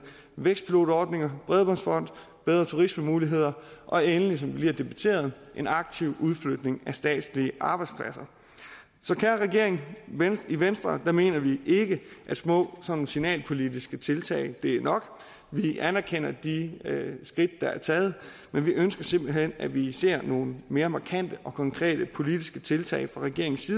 vækstpilotordninger bredbåndsfond bedre turismemuligheder og endelig som vi lige har debatteret en aktiv udflytning af statslige arbejdspladser så kære regering i venstre mener vi ikke at små sådan signalpolitiske tiltag er nok vi anerkender de skridt der er taget men vi ønsker simpelt hen at vi ser nogle mere markante og konkrete politiske tiltag fra regeringens